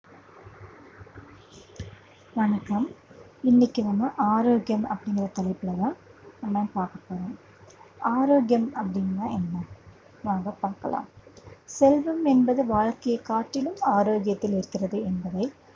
வணக்கம் இன்னைக்கு நம்ம ஆரோக்கியம் அப்படிங்கிற தலைப்புலதான், நம்ம பார்க்க போறோம். ஆரோக்கியம் அப்படின்னா என்ன வாங்க பார்க்கலாம். செல்வம் என்பது வாழ்க்கையைக் காட்டிலும் ஆரோக்கியத்தில் இருக்கிறது என்பதை